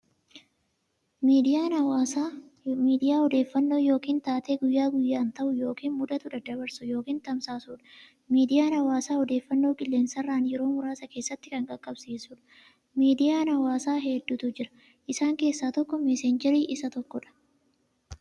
Miidiyaa hawaasaa miidiyaa odeeffannoo yookiin taatee guyyaa guyyaan ta'u yookiin mudatu daddabarsu yookiin tamsaasudha. Miidiyaan hawaasaa odeeffannoo qilleensarraan yeroo muraasa keessatti kan qaqqabsiisudha. Miidiyaan hawaasaa hedduutu jira. Isaan keessaa tokko "messenger" isa tokkodha.